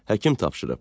Həkim tapşırıb.